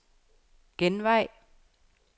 genvej